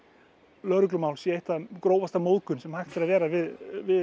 lögreglumál sé ein grófasta móðgun sem hægt er að vera við